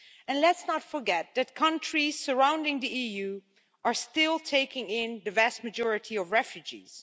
And let's not forget that countries surrounding the EU are still taking in the vast majority of refugees.